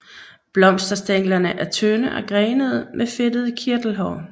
Blomsterstænglerne er tynde og grenede med fedtede kirtelhår